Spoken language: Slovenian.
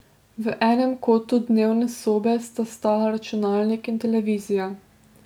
V enem kotu dnevne sobe sta stala računalnik in televizija.